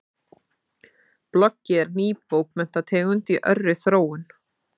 Bloggið er ný bókmenntategund í örri þróun.